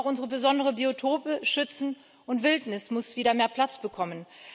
Wir müssen auch unsere besonderen Biotope schützen, und Wildnis muss wieder mehr Platz bekommen.